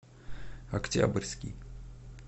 октябрьский